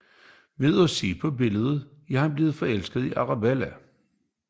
Ved at se på billedet er han blevet forelsket i Arabella